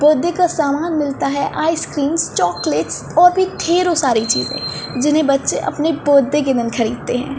Birthday का सामान मिलता है आइस क्रीम चॉकलेट्स और भी ढेरो सारी चीज़े जिन्हे बच्चे अपनी बर्थडे के दिन ख़रीदते हैं।